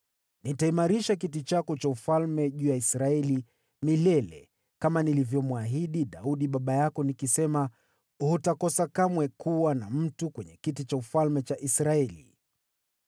nitakiimarisha kiti chako cha enzi juu ya Israeli milele kama nilivyomwahidi Daudi baba yako niliposema, ‘Hutakosa kamwe kuwa na mtu kwenye kiti cha enzi cha Israeli.’